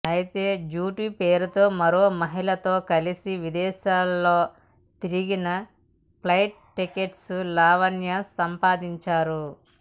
అయితే డ్యూటీ పేరుతో మరో మహిళతో కలిసి విదేశాల్లో తిరిగిన ప్లైట్ టికెట్స్ లావణ్య సంపాదించారు